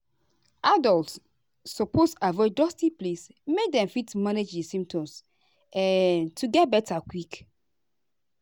adults suppose avoid dusty place make dem fit manage di symptoms um to get beta quick.